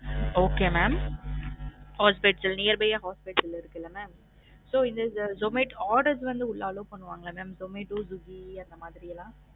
Okay mam hospital near by a hospital இருக்குல mam so இந்த Zomato orders வந்து உள்ள allow பண்ணுவாங்கலா mam சோமட்டோ, ஸ்விக்கி அந்த மாதிரி எல்லாம்